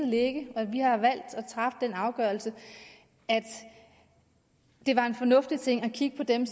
ligge og vi har valgt at træffe den afgørelse at det var en fornuftig ting at kigge på dem